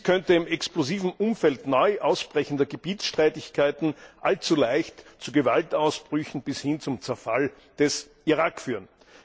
Dies könnte im explosiven Umfeld neu ausbrechender Gebietsstreitigkeiten allzu leicht zu Gewaltausbrüchen bis hin zum Zerfall des Irak führen.